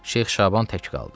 Şeyx Şaban tək qaldı.